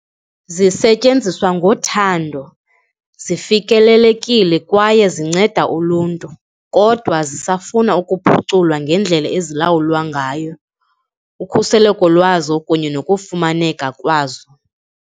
Zisetyenziswa ngothando, zifikelelekile kwaye zinceda uluntu kodwa zisafuna ukuphuculwa ngendlela ezilawulwa ngayo, ukhuseleko lwazo kunye nokufumaneka kwazo.